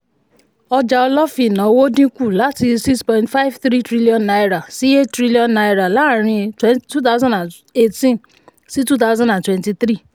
ọjà olófìn-ìnáwó dínkù láti six point five three trillion naira sí eight trillion naira láàárín twenty eighteen sí twenty twenty three